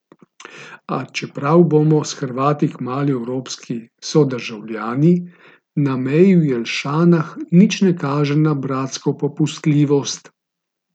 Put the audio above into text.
A čeprav bomo s Hrvati kmalu evropski sodržavljani, na meji v Jelšanah nič na kaže na bratsko popustljivost.